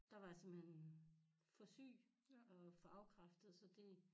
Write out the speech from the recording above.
Der var jeg simpelthen for syg og for afkræftet så det